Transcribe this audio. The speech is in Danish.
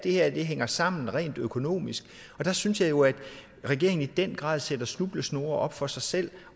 her hænger sammen rent økonomisk og der synes jeg jo at regeringen i den grad sætter snublesnore op for sig selv